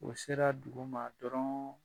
O sera duguma dɔrɔɔn